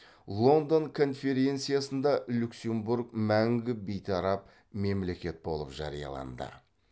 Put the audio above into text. лондон конференциясында люксембург мәңгі бейтарап мемлекет болып жарияланды